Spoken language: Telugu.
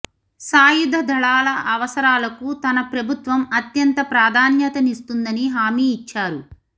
సాయుధ దళాల అవసరాలకు తన ప్రభుత్వం అత్యంత ప్రాధాన్యతనిస్తుందని హామీ ఇచ్చారు